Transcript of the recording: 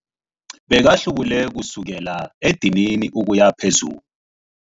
Bekahlubule kusukela edinini ukuya phezulu.